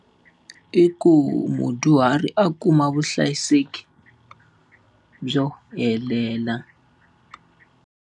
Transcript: I ku mudyuhari a kuma vuhlayiseki byo helela.